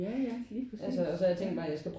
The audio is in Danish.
Ja ja lige præcis ja